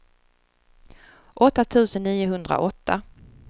åtta tusen niohundraåtta